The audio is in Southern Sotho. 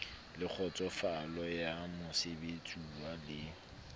le kgotsofalo ya mosebeletsuwa le